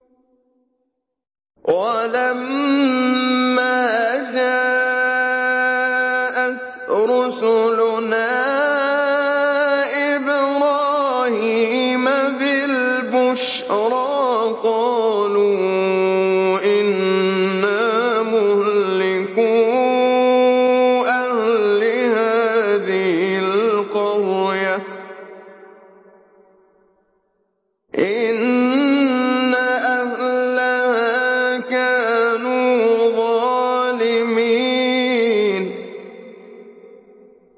وَلَمَّا جَاءَتْ رُسُلُنَا إِبْرَاهِيمَ بِالْبُشْرَىٰ قَالُوا إِنَّا مُهْلِكُو أَهْلِ هَٰذِهِ الْقَرْيَةِ ۖ إِنَّ أَهْلَهَا كَانُوا ظَالِمِينَ